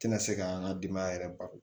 Tɛna se k'an ka denbaya yɛrɛ balo